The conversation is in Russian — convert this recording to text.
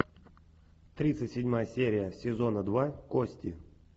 тридцать седьмая серия сезона два кости